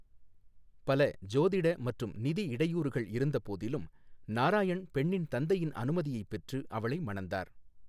பல ஜோதிட மற்றும் நிதி இடையூறுகள் இருந்தபோதிலும், நாராயண் பெண்ணின் தந்தையின் அனுமதியைப் பெற்று அவளை மணந்தார்.